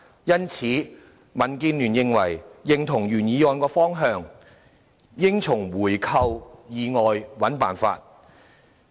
因此，民建聯認同原議案的方向，應在回購以外尋找方法。